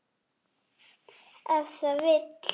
Ef það vill.